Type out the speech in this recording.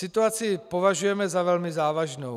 Situaci považujeme za velmi závažnou.